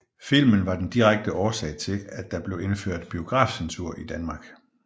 Filmen var den direkte årsag til at der blev indført biografcensur i Danmark